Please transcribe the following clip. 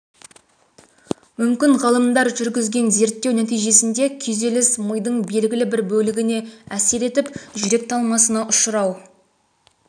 мүмкін ғалымдар жүргізген зерттеу нәтижесінде күйзеліс мидың белгілі бір бөлігіне әсер етіп жүрек талмасына ұшырау